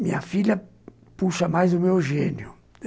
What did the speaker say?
Minha filha puxa mais o meu gênio.